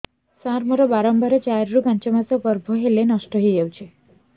ସାର ମୋର ବାରମ୍ବାର ଚାରି ରୁ ପାଞ୍ଚ ମାସ ଗର୍ଭ ହେଲେ ନଷ୍ଟ ହଇଯାଉଛି